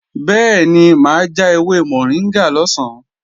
Bẹ́ẹ̀ni mà á ja ewé mọ̀ríngà lọ̀sán